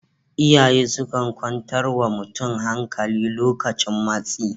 Iyaye sukan kwantar wa mutum hankali lokacin matsi